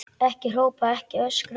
Ekki hrópa, ekki öskra!